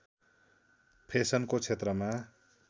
फेसनको क्षेत्रमा